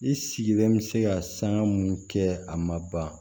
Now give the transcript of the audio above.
I sigilen bɛ se ka sanga munnu kɛ a ma ban